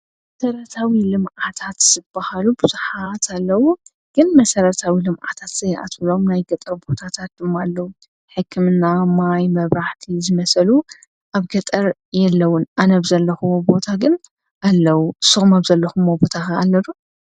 መሰረታዊ ልምዓታት ዝብሃሉ ብዙሓት ኣለዉ፡፡ ግን መሠረታዊ ኢልም ዓታት ዘይኣትውሎም ናይ ገጠር ቦታታት ድማ ኣለዉ፡፡ ሕክምና፣ ማይ፣ መብራህቲ ዝመሰሳሉ ኣብ ገጠር የለዉን፡፡ ኣነ ብዘለኹዎ ቦታ ግን ኣለዉ፡፡ ንስኹም ኣብ ዘለኹሞ ቦታ ኽ ኣሎ ዶ?